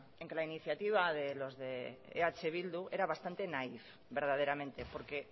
en que la iniciativa de los de eh bildu era bastante naif verdaderamente porque